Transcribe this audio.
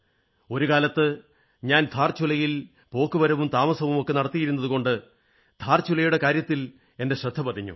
ഒരു കാലത്ത് ഞാൻ ധാർചുലയിൽ പോക്കുവരവും താമസവുമൊക്കെ നടത്തിയിരുന്നതുകൊണ്ടാണ് ധാർചുലയുടെ കാര്യത്തിൽ എന്റെ ശ്രദ്ധ പതിഞ്ഞത്